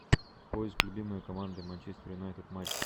поиск любимые команды манчестер юнайтед матчи